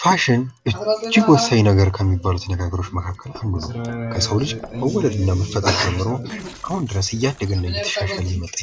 ፋሽን እጅግ ወሳኝ ተብሎ ከሚነገሩ ነገሮች መካከል ከሰው ልጅ መወለድ እና መፈጠር ጀምሮ አሁን ድረስ እያደገና እየተሻሻለ የመጣ